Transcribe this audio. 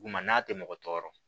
Duguma n'a tɛ mɔgɔ tɔɔrɔ